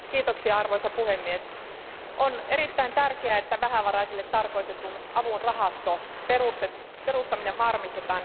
Arvoisa puhemies, on erittäin tärkeää, että vähävaraisille tarkoitetun avun rahaston perustaminen varmistetaan